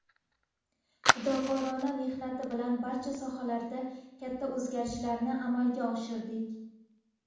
fidokorona mehnati bilan barcha sohalarda katta o‘zgarishlarni amalga oshirdik.